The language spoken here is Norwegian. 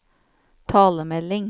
talemelding